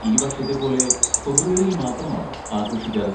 ഈ വർഷത്തെ പോലെ ഫെബ്രുവരിയിൽ മാത്രമാണോ ആഘോഷിക്കാറ്?